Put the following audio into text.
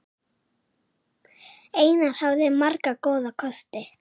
Einar hafði marga góða kosti.